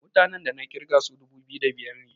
mutanen da na kirga su dubu biyu da biyar ne